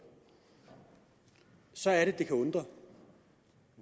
så er det at det kan undre